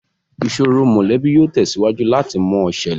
Ìsòro mọ́lẹ̀bi yìí ó tẹ̀síwájú láti mọ ṣẹlẹ̀